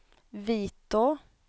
Vitå